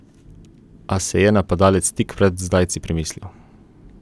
A se je napadalec tik pred zdajci premislil.